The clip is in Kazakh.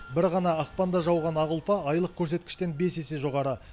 бір ғана ақпанда жауған ақ ұлпа айлық көрсеткіштен бес есе жоғары